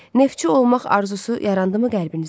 Neftçi olmaq arzusu yarandımı qəlbinizdə?